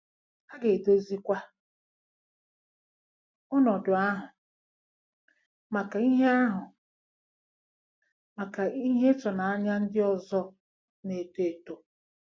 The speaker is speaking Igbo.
A ga-edozikwa ọnọdụ ahụ maka ihe ahụ maka ihe ịtụnanya ndị ọzọ na-eto eto.